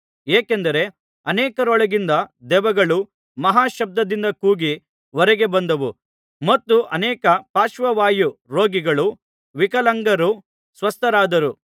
ಏಕೆಂದರೆ ಅನೇಕರೊಳಗಿಂದ ದೆವ್ವಗಳು ಮಹಾಶಬ್ದದಿಂದ ಕೂಗಿ ಹೊರಗೆ ಬಂದವು ಮತ್ತು ಅನೇಕ ಪಾರ್ಶ್ವವಾಯು ರೋಗಿಗಳೂ ವಿಕಲಾಂಗರು ಸ್ವಸ್ಥರಾದರು